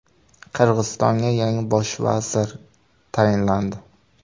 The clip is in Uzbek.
Qirg‘izistonga yangi bosh vazir tayinlandi.